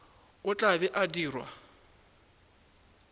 o tla be a dirwa